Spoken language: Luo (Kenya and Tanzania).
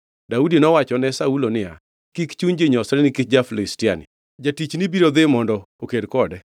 Daudi nowachone Saulo niya, “Kik chuny ji nyosre nikech ja-Filistiani; jatichni biro dhi mondo oked kode.”